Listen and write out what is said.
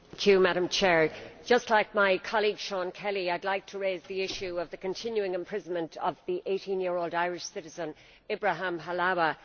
Madam President, just like my colleague, Seán Kelly, I would like to raise the issue of the continuing imprisonment of the 18 year old Irish citizen Ibrahim Halawa.